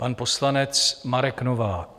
Pan poslanec Marek Novák.